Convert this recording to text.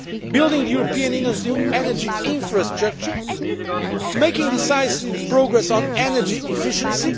asset building the European Union's new energy infrastructure making decisive progress on energy efficiency